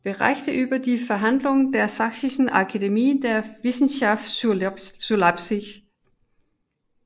Berichte über die Verhandlungen der Sächsischen Akademie der Wissenschaften zu Leipzig